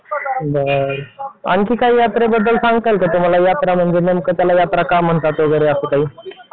बरं आणखी काय यात्रे बद्दल सांगताय का तुम्हाला यात्रा म्हणजे नेमकं त्याला यात्रा का म्हणतात वगैरे असं काही.